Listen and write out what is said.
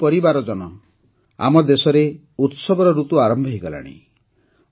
ମୋର ପରିବାରଜନ ଆମ ଦେଶରେ ଉତ୍ସବର ଋତୁ ଆରମ୍ଭ ହୋଇଗଲାଣି